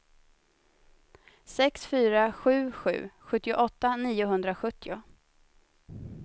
sex fyra sju sju sjuttioåtta niohundrasjuttio